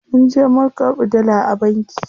Munje mun karɓi dala a banki.